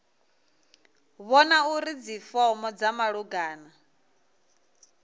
vhona uri dzifomo dza malugana